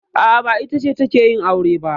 A'a, ba ita ce take yin aure ba.